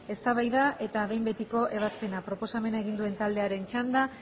eztabaida eta behin betiko ebazpena proposamen egin duen taldearen txanda